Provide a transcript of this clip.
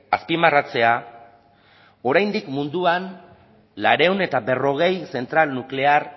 azpimarratzea oraindik munduan laurehun eta berrogei zentral nuklear